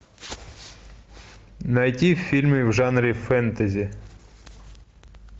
найти фильмы в жанре фэнтези